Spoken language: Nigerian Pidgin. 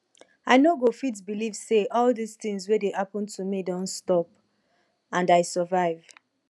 i no go fit believe say all dis thing wey dey happen to me don stop and i survive